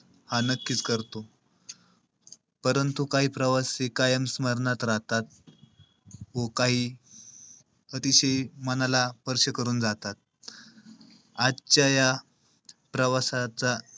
हा नक्कीच करतो. परंतु काही प्रवासी कायम स्मरणात राहतात. व काही अतिशय मनाला स्पर्श करून जातात. आजच्या या प्रवासाचा,